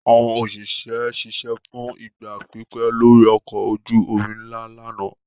Àwọn òṣìṣẹ́ ṣiṣẹ́ fún ìgbà pípẹ́ lórí ọkọ̀ ojú-omi ńlá lánàá.